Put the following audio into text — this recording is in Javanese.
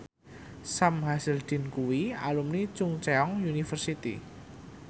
Sam Hazeldine kuwi alumni Chungceong University